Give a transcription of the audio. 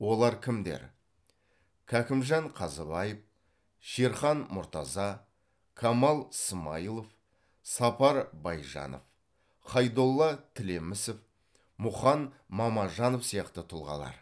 олар кімдер кәкімжан қазыбаев шерхан мұртаза камал смайылов сапар байжанов хайдолла тілемісов мұқан мамажанов сияқты тұлғалар